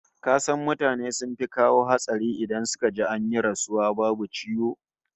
Ka san mutane sun fi kawo hatsari in suka ji an yi rasuwa babu ciwo?